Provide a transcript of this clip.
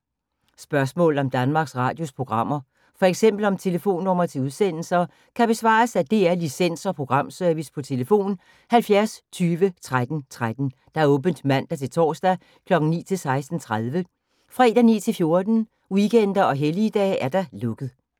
Spørgsmål om Danmarks Radios programmer, f.eks. om telefonnumre til udsendelser, kan besvares af DR Licens- og Programservice: tlf. 70 20 13 13, åbent mandag-torsdag 9.00-16.30, fredag 9.00-14.00, weekender og helligdage: lukket.